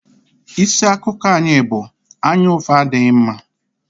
Isi akụkọ anyị bụ "Anyaụfụ adịghị mma"